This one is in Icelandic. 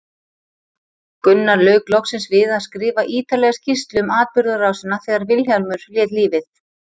Gunnar lauk loksins við að skrifa ítarlega skýrslu um atburðarásina þegar Vilhjálmur lét lífið.